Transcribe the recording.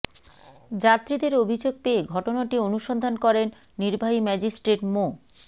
যাত্রীদের অভিযোগ পেয়ে ঘটনাটি অনুসন্ধান করেন নির্বাহী ম্যাজিস্ট্রেট মো